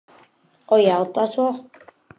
Og játað svo.